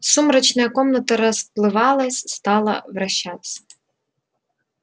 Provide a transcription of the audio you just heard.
сумрачная комната расплывалась стала вращаться